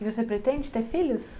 E você pretende ter filhos?